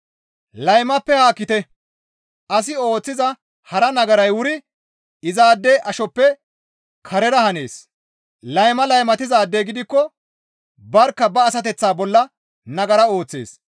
Laymappe haakkite; asi ooththiza hara nagaray wuri izaade ashoppe karera hanees; layma laymatizaadey gidikko barkka ba asateththaa bolla nagara ooththees.